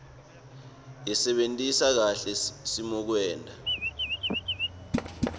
sebentisa kahle simokwenta